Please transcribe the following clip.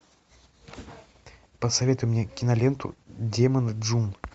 посоветуй мне киноленту демоны джун